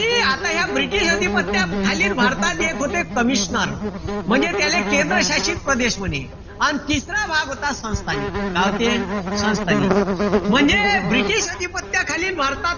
आता या british अधिपत्याखालील भारतात एक होते commissioner. म्हणजे त्याले केंद्र शासित प्रदेश म्हणे. अन तिसरा भाग होता. संस्थानिक. का होते? संस्थानिक. म्हणजे british अधिपत्याखालील भारतात,